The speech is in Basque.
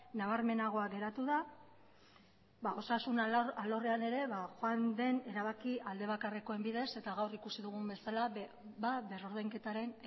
nabarmenagoa geratu da osasun alorrean ere joan den erabaki aldebakarrekoen bidez eta gaur ikusi dugun bezala berrordainketaren